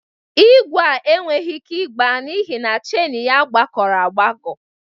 Igwe a enweghi ike ịgba n'ihi na cheini ya kpakọrọ agbakọ.